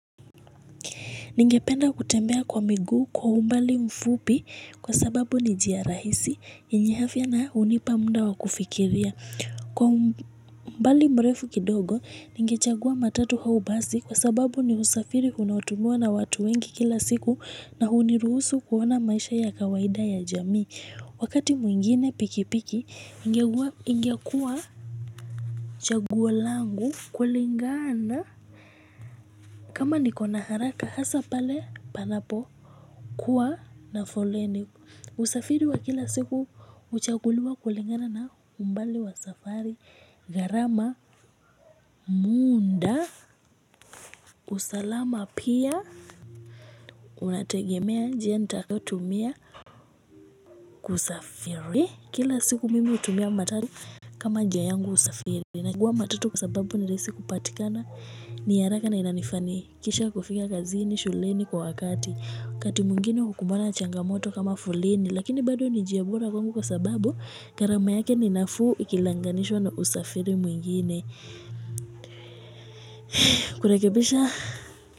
Ningependa kutembea kwa miguu kwa umbali mfupi kwa sababu ni njia rahisi yenye afya na hunipa muda wa kufikiria. Kwa umbali mrefu kidogo ningechagua matatu au basi kwa sababu ni usafiri unao tumiwa na watu wengi kila siku na huniruhusu kuona maisha ya kawaida ya jamii. Wakati mwingine pikipiki ingekua chaguo langu kulingana kama niko na haraka hasa pale panapo. Kuwa na foleni usafiri wa kila siku huchaguliwa kulingana na umbali wa safari gharama muda usalama pia unategemea je ntalotumia kusafiri kila siku mimi hutumia matatu kama nija yangu usafiri naguwa matatu kwa sababu ni rahisi kupatikana ni ya haraka na inanifanikisha kufika kazini shuleni kwa wakati wakati mwingine hukumbana changamoto kama foleni. Lakini bado ni njia bora kwa sababu gharama yake ni nafuu. Ikilanganishwa na usafiri mwingine kurekebisha.